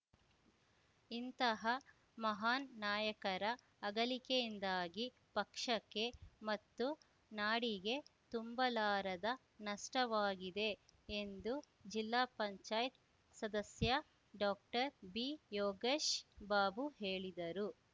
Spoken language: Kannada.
ಇಂತಹ ಮಹಾನ್‌ ನಾಯಕರ ಅಗಲಿಕೆಯಿಂದಾಗಿ ಪಕ್ಷಕ್ಕೆ ಮತ್ತು ನಾಡಿಗೆ ತುಂಬಲಾರದ ನಷ್ಟವಾಗಿದೆ ಎಂದು ಜಿಲ್ಲಾ ಪಂಚಾಯತ್ ಸದಸ್ಯ ಡಾಕ್ಟರ್ಬಿಯೋಗೇಶ್ ಬಾಬು ಹೇಳಿದರು